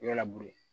I b'a